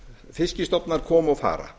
fiskstofnar koma og fara